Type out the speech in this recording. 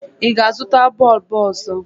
Ị ga-azụta bọọbụ ọzọ?